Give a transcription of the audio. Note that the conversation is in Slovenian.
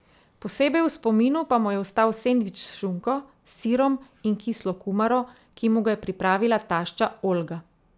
Posebej v spominu pa mu je ostal sendvič s šunko, sirom in kislo kumaro, ki mu ga je pripravila tašča Olga.